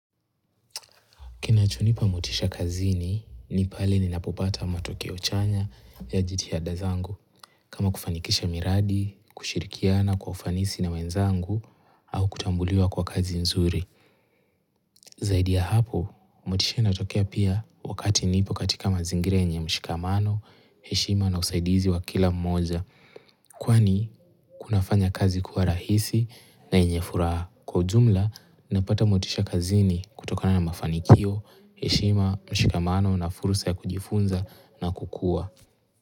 Kinachonipa motisha kazini ni pale ninapopata matokeo chanya ya jitihada zangu kama kufanikisha miradi, kushirikia na kwa ufanisi na wenzangu au kutambuliwa kwa kazi nzuri. Zaidi ya hapo, motisha inatokea pia wakati nipo katika mazingira yenye mshikamano, heshima na usaidizi wa kila mmoja. Kwani kunafanya kazi kuwa rahisi na yenye furaha kwa ujumla napata motisha kazini kutokona na mafanikio, heshima, mshikamano na fursa ya kujifunza na kukua.